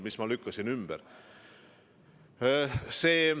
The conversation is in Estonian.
Ma lükkasin selle ümber.